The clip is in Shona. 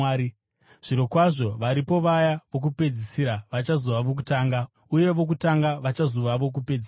Zvirokwazvo, varipo vaya vokupedzisira vachazova vokutanga, uye vokutanga vachazova vokupedzisira.”